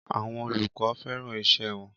Àwọn olùkọ́ fẹ́ràn iṣẹ́ wọn.